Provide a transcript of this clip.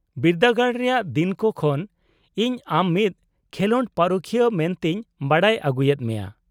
-ᱵᱤᱨᱫᱟᱹᱜᱟᱲ ᱨᱮᱭᱟᱜ ᱫᱤᱱ ᱠᱚ ᱠᱷᱚᱱ ᱤᱧ ᱟᱢ ᱢᱤᱫ ᱠᱷᱮᱞᱚᱸᱰ ᱯᱟᱨᱩᱠᱷᱤᱭᱟᱹ ᱢᱮᱱᱛᱮᱧ ᱵᱟᱰᱟᱭ ᱟᱜᱩᱭᱮᱫ ᱢᱮᱭᱟ ᱾